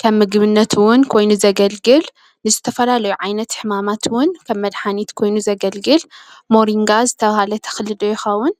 ከም ምግብነት እዉን ኮይኑ ዘገልግል ንዝተፈላለዩ ዓይነት ሕማማት እዉን ከም መድሓኒት ኮይኑ ዘገልግል ሞሪንጋ ዝተብሃለ ተኽሊ ዶ ይኸዉን?